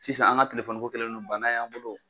Sisan an ka telefɔniko kɛlen no bana y'an bolo